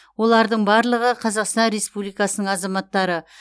олардың барлығы қазақстан республикасының азаматтары